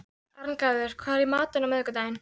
Arngarður, hvað er í matinn á miðvikudaginn?